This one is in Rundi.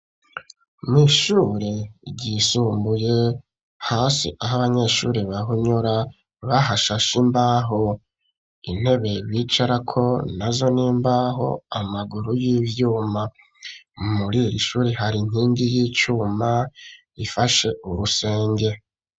Mw'ishure ryisumbuye hasi aho abanyeshuri bahunyura bahashasha imbaho intebe bicarako na zo n'imbaho amaguru y'ivyuma murira ishuri hari nkingi y'icuma ifashe urusenge.